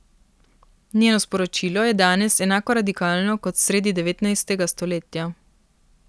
Njeno sporočilo je danes enako radikalno kot sredi devetnajstega stoletja.